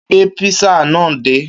Kúnlé ti gbé písà náà dé.